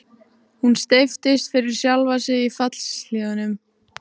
Hún steyptist yfir sjálfa sig í fjallshlíðunum.